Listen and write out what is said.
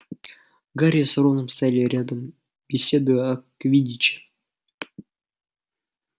гарри с роном стояли рядом беседуя о квиддиче